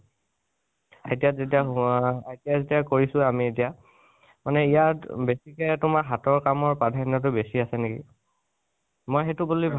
তেতিয়া যেতিয়া সোমা~, তেতিয়া ITI যেতিয়া কৰিছো আমি এতিয়া, মানে ইয়াত বেছিকে তোমাৰ হাতৰ কাঅৰ প্ৰাধন্য় তো বেছি আছে নেকি, মই সেইতু বুলি ভাবো